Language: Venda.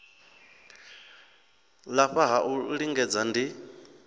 lafha ha u lingedza ndi